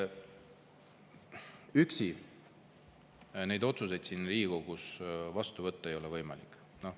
Üksi neid otsuseid siin Riigikogus vastu võtta ei ole võimalik.